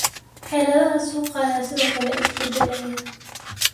Xaaladaha suuqa ayaa sidoo kale isbedelaya.